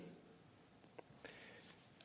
er